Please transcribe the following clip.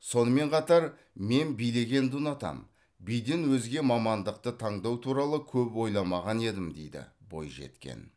сонымен қатар мен билегенді ұнатамын биден өзге мамандықты таңдау туралы көп ойламаған едім дейді бойжеткен